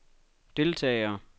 deltagere